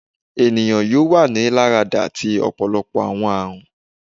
Eniyan yoo wa ni larada ti ọpọlọpọ awọn arun